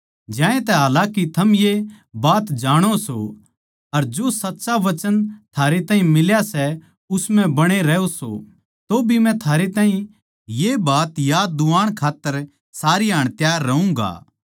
ज्यांतै हालाकि थम ये बात जाणो सो अर जो सच्चा वचन थारै ताहीं मिल्या सै उस म्ह बणे रहो सो तौभी मै थारै ताहीं ये बात याद दुवाण खात्तर सारी हाण त्यार रहूँगा